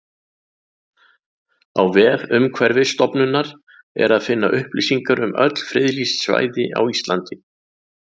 Á vef Umhverfisstofnunar er að finna upplýsingar um öll friðlýst svæði á Íslandi.